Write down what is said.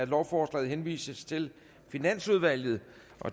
lovforslaget henvises til finansudvalget